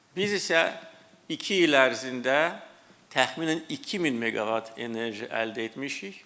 Biz isə iki il ərzində təxminən 2000 meqavat enerji əldə etmişik.